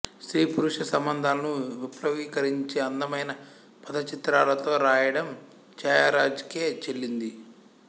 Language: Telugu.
స్త్రీ పురుష సంబంధాలను విప్లవీకరించి అందమైన పదచిత్రాలతో రాయడాం ఛాయరాజ్ కే చెల్లింది